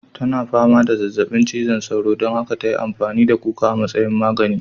Tana fama da zazzabin cizon sauro don haka ta yi amfani da kuka a matsayin magani.